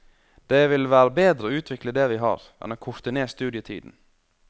Det vil være bedre å utvikle det vi har, enn å korte ned studietiden.